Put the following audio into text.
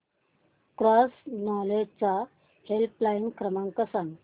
cross knowledge चा helpline क्रमांक सांगा